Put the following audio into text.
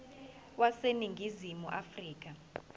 wase ningizimu afrika